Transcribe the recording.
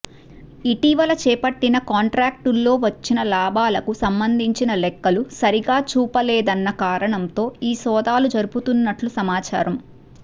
ఇటీవల చేపట్టిన కాంట్రాక్టుల్లో వచ్చిన లాభాలకు సంబంధించిన లెక్కలు సరిగా చూపలేదన్న కారణంతో ఈ సోదాలు జరుపుతున్నట్లు సమాచారం